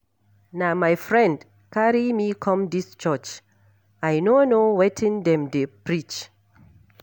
Na my friend carry me come dis church. I no know wetin dem dey preach.